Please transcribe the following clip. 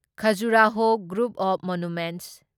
Khajuraho group of monuments